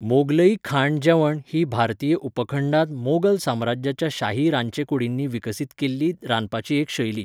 मोगलई खाण जेवण ही भारतीय उपखंडांत मोगल साम्राज्याच्या शाही रांदचे कुडींनी विकसीत केल्ली रांदपाची एक शैली.